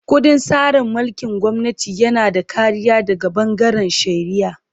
Ƙundin tsarin mulkin gwamnati yana da kariya daga bangaren shari'a.